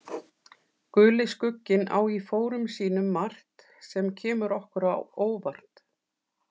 Guli skugginn á í fórum sínum margt, sem kemur okkur á óvart.